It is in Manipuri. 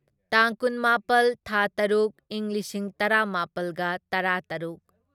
ꯇꯥꯡ ꯀꯨꯟꯃꯥꯄꯜ ꯊꯥ ꯇꯔꯨꯛ ꯢꯪ ꯂꯤꯁꯤꯡ ꯇꯔꯥꯃꯥꯄꯜꯒ ꯇꯔꯥꯇꯔꯨꯛ